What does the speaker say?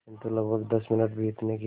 किंतु लगभग दस मिनट बीतने के